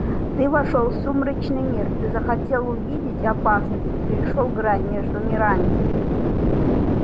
ты вошёл в сумеречный мир ты захотел увидеть опасность и перешёл грань между мирами